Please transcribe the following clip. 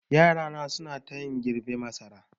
Yarana suna tayani girbe masara.